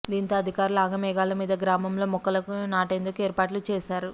దీంతో అధికారులు ఆగమేఘాల మీద గ్రామంలో మొక్కలను నా టేందుకు ఏర్పాట్లు చేశారు